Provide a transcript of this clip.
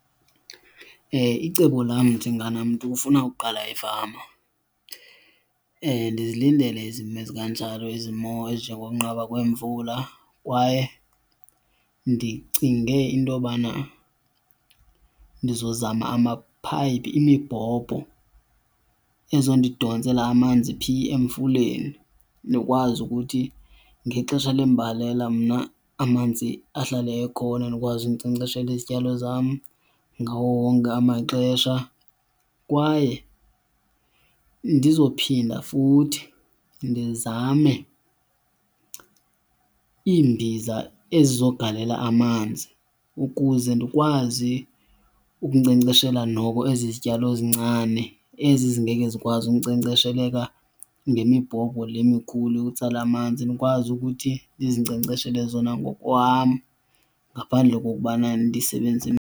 Icebo lam njenganamntu ufuna ukuqala ifama ndizilindele izimo ezikanjalo, izimo ezinjengengokunqaba kwemvula. Kwaye ndicinge into yobana ndizozama amaphayiphi, imibhobho, ezodidontsela amanzi. Phi? Emfuleni. Ndikwazi ukuthi ngexesha lembalela mna amanzi ahlale ekhona ndikwazi ukunkcenkceshela izityalo zam ngawo wonke amaxesha. Kwaye ndizophinda futhi ndizame iimbiza ezizogalela amanzi ukuze ndikwazi ukunkcenkceshela noko ezi zityalo zincane ezi zingeke zikwazi ukunkcenkcesheleka ngemibhobho le mikhulu yokutsala amanzi. Ndikwazi ukuthi ndizinkcenkceshele zona ngokwam ngaphandle kokubana ndisebenze .